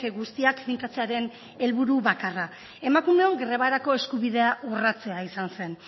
guztiak finkatzearen helburu bakarra emakumeon grebarako eskubidea urratzea izan zen